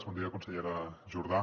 bon dia consellera jordà